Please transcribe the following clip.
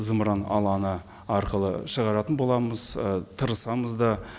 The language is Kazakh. зымыран алаңы арқылы шығаратын боламыз ы тырысамыз да